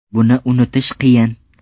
Buni unutish qiyin.